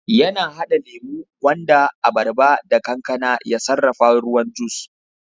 yana hada lemo, gwanda, abarba da kankana ya sarrafa ruwan juis